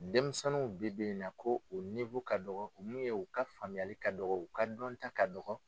Denmisɛnninw bi bi in na ko u ka dɔgɔ min ye u ka faamuyali ka dɔgɔ u ka dɔnta ka dɔgɔ.